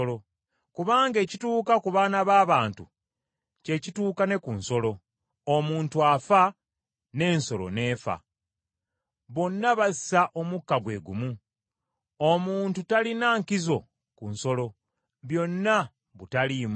Kubanga ekituuka ku baana b’abantu kye kituuka ne ku nsolo; omuntu afa, n’ensolo n’efa. Bonna bassa omukka gwe gumu; omuntu talina nkizo ku nsolo. Byonna butaliimu.